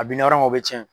A bina yɔrɔ min na o be cɛn